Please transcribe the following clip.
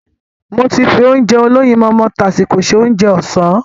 Mo ti fi Ounjẹ olóyinmọmọ tásíko se Ounjẹ ọ̀sán